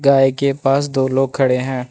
गाय के पास दो लोग खड़े हैं।